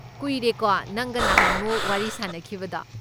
ꯀꯨꯏꯔꯦꯀꯣ ꯅꯪꯒ ꯅꯍꯥꯟꯃꯨꯛ ꯋꯥꯔꯤ ꯁꯥꯅꯈꯤꯕꯗꯣ꯫